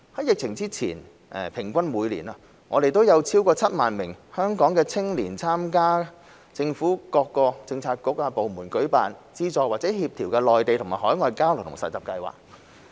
疫情前，每年平均有超過7萬名香港青年參加政府各政策局/部門舉辦、資助或協調的內地及海外交流和實習計劃。